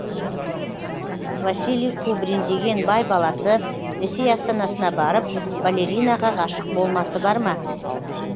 василий кубрин деген бай баласы ресей астанасына барып балеринаға ғашық болмасы бар ма